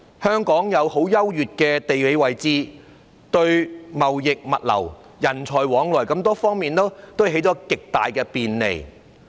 香港具有優越的地理位置，為貿易、物流、人才往來等提供了極大的便利。